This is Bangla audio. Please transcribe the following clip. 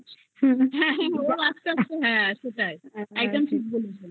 হ্যা ওর আসতে আসতে হ্যা সেটাই